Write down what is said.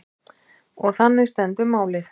Og þannig stendur málið.